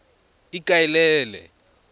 ikaelele